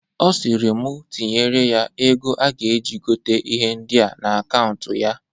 Ọ sịrị mu tinyere ya ego a ga-eji gota ihe ndịa n'akaụnt ya.